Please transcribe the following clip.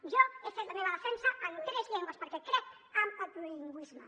jo he fet la meva defensa en tres llengües perquè crec en el plurilingüisme